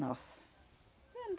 Nossa. Hum